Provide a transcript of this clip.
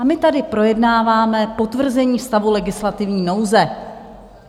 A my tady projednáváme potvrzení stavu legislativní nouze.